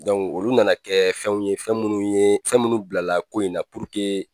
olu nana kɛ fɛnw ye fɛn munnu ye fɛn munnu bilala ko in na